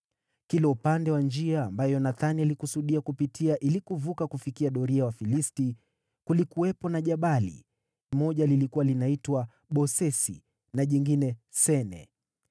Kila upande wa njia ambayo Yonathani alikusudia kupita ili kuvuka kufikia doria ya Wafilisti kulikuwepo na jabali; moja lilikuwa linaitwa Bosesi, na jingine Sene.